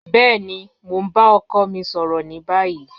Bẹẹni, mo n ba ọkọ mi sọrọ ni bayi.